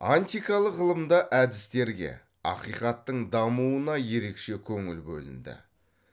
антикалық ғылымда әдістерге ақиқаттың дамуына ерекше көңіл бөлінді